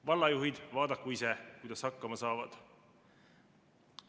Vallajuhid vaadaku ise, kuidas hakkama saavad.